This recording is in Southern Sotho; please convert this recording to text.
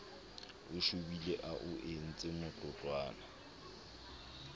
o shobile a o entsemotloutlwana